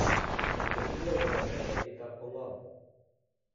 Ole kinyorundoi miondo nitok ko ng'om